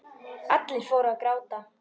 Allir fóru að gráta.